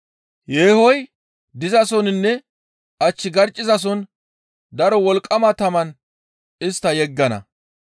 Yeehoy dizasoninne ach garccizason daro wolqqama taman istta yeggana.